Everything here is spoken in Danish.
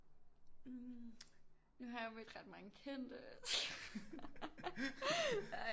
Nu har jeg jo mødt ret mange kendte ej